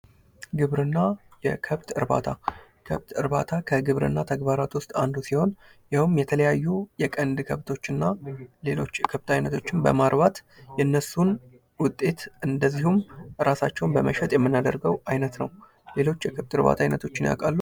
ግብርና የከብት እርባታ ከብት እርባታ ከግብርና ተግባራት ዉስጥ አንዱ ሲሆን ይኸውም የተለያዩ የቀንድ ከብቶች እና ሌሎች የ የከብት አይነቶችን በማርባት የነሱን ውጤት እንዲሁም ራሳቸውን በመሸጥ የምናደርገው አይነት ነው። ሌሎች የከብት እርባታ ዓይነቶችን ያውቃሉ።